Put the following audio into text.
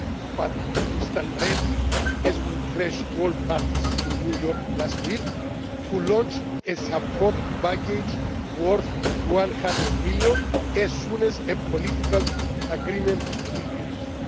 work with. But we stand ready, as we pledged to all parties in New York last week, to launch a support package worth EUR 100 million as soon as a political agreement